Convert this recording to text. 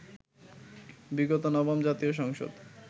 বিগত নবম জাতীয় সংসদ